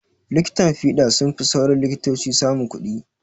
likitan fiɗa sunfi sauran likitoci samun kuɗi